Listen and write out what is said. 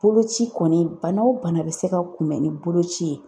Boloci kɔni , bana o bana bɛ se ka kunbɛn ni boloci ye.